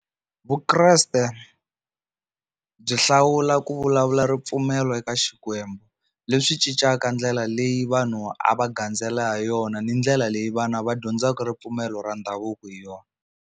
Vukreste byi hlawula ku vulavula ripfumelo eka Xikwembu leswi cincaka ndlela leyi vanhu a va gandzela ha yona ni ndlela leyi vana va dyondzaka ripfumelo ra ndhavuko hi yona.